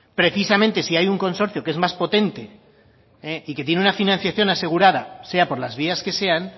precisamente si hay un consorcio que es más potente y que tiene una financiación asegurada sea por las vías que sean